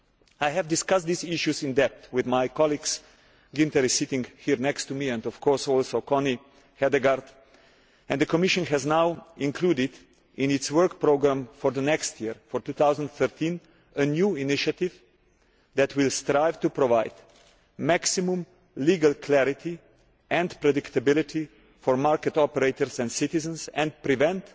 I have discussed these issues in depth with my colleagues Günther Oettinger, who is sitting here next to me, and of course also Connie Hedegaard, and the Commission has now included in its work programme for next year, 2013, a new initiative that will strive to provide maximum legal clarity and predictability for market operators and citizens and prevent,